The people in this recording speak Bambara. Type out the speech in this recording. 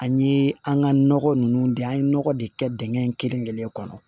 An ye an ka nɔgɔ ninnu dan an ye nɔgɔ de kɛ dingɛ in kelen kelen kɔnɔ